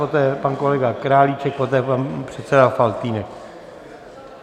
Poté pan kolega Králíček, poté pan předseda Faltýnek.